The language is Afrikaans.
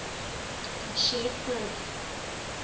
and shared growth